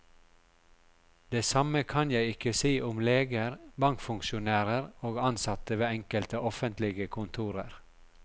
Det samme kan jeg ikke si om leger, bankfunksjonærer og ansatte ved enkelte offentlige kontorer.